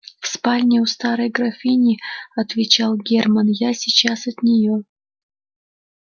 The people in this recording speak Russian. в спальне у старой графини отвечал германн я сейчас от неё